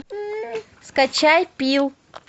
скачай пил